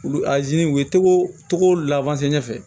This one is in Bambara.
Olu u ye togo lawɛsɛ